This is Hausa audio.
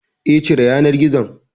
Eh, cire yanar gizon